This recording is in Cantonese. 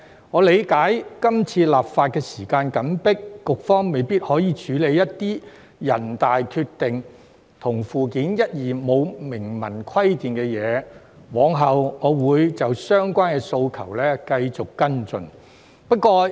我理解今次立法時間緊迫，局方未必可以處理一些人大決定與附件一及附件二沒有明文規定的部分，我往後會就相關的訴求繼續跟進。